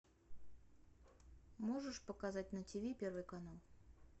можешь показать на тв первый канал